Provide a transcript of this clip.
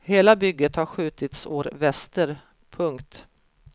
Hela bygget har skjutits år väster. punkt